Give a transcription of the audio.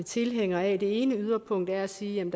tilhængere af det ene yderpunkt er at sige